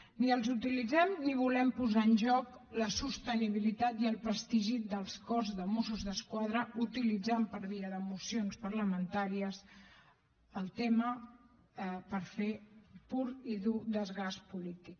ni els utilitzem ni volem posar en joc la sostenibilitat i el prestigi del cos de mossos d’esquadra utilitzant per via de mocions parlamentàries el tema per fer pur i dur desgast polític